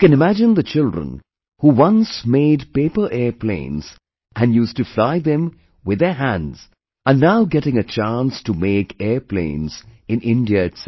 You can imagine the children who once made paper airplanes and used to fly them with their hands are now getting a chance to make airplanes in India itself